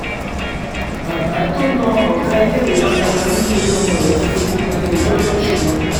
bàbá tó na ọ̀gá iléèwé girama nítorí ọmọ rẹ̀ ti fojú balẹ̀-ẹjọ́ lọ́sùn